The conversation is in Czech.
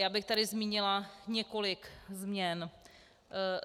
Já bych tady zmínila několik změn.